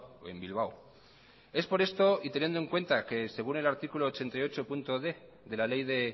o en bilbao es por esto y teniendo en cuenta que según el artículo ochenta y ochod de la ley de